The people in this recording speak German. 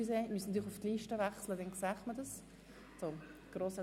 Bei Artikel 57 haben wir eine Paradigmenwechsel.